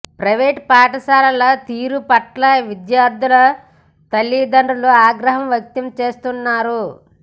private పాఠశాలల తీరు పట్ల విద్యార్థుల తల్లిదండ్రులు ఆగ్రహం వ్యక్తం చేస్తున్నారు